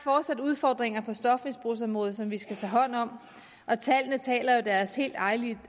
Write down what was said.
fortsat udfordringer på stofmisbrugsområdet som vi skal tage hånd om og tallene taler jo deres helt eget og